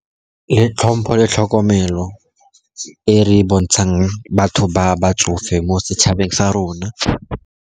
Le tlhompho le tlhokomelo e re e bontshang batho ba ba tsofe mo setšhabeng sa rona.